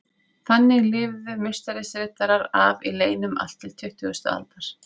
Þannig lifðu Musterisriddarar af í leynum allt til tuttugustu aldar.